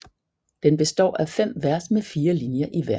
Den består af 5 vers med 4 linjer i hver